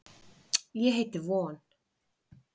Ég heiti von.